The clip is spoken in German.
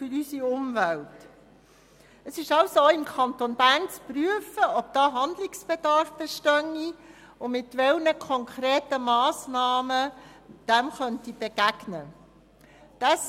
Es ist also auch im Kanton Bern zu prüfen, ob diesbezüglich ein Wandlungsbedarf besteht und mit welchen konkreten Massnahmen man diesem begegnen kann.